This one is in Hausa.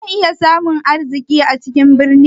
Zan iya samun arziki a cikin birni?